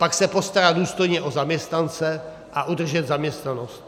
Pak se postarat důstojně o zaměstnance a udržet zaměstnanost.